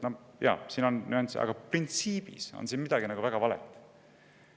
Jaa, siin on nüansse, aga printsiibis on siin midagi väga valet.